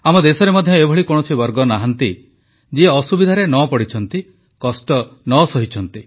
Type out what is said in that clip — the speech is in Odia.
ଆମ ଦେଶରେ ମଧ୍ୟ ଏଭଳି କୌଣସି ବର୍ଗ ନାହାନ୍ତି ଯିଏ ଅସୁବିଧାରେ ନ ପଡ଼ିଛନ୍ତି କଷ୍ଟ ନ ସହିଛନ୍ତି